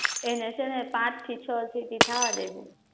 એને છે ને પાચ થી છ સીટી થવા દેજે